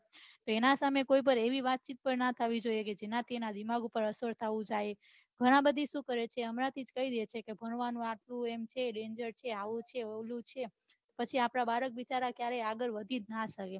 તાના સામે કોઈ વાત ચિત પન ણ કરવી જોઈએ જેનાથી તેમના દિમાગ પર અસર થાય ઘણા બઘા સુ કરે છે હમણાં થી જ કહી ડે છે ભણવાનું આવું છે danger છે પછી આપડા બાળક કદી આગળ વઘી ના શકે